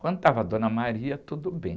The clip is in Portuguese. Quando estava a Dona, tudo bem.